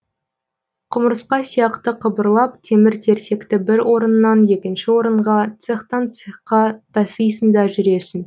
құмырсқа сияқты қыбырлап темір терсекті бір орыннан екінші орынға цехтан цехқа тасисың да жүресің